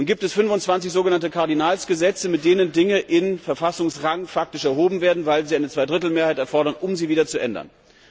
Nun gibt es 25 sogenannte Kardinalsgesetze, mit denen Dinge faktisch in Verfassungsrang erhoben werden, weil es eine Zweidrittelmehrheit erfordert, um sie wieder zu ändern.